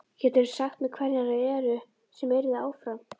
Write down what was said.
Geturðu sagt mér hverjar þær eru sem yrðu áfram?